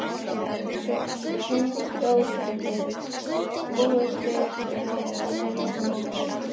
Hrund Þórsdóttir: Búist þið við að vera hérna í nótt?